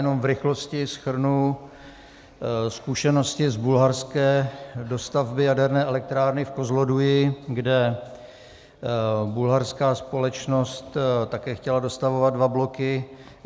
Jenom v rychlosti shrnu zkušenosti z bulharské dostavby Jaderné elektrárny v Kozloduji, kde bulharská společnost také chtěla dostavovat dva bloky.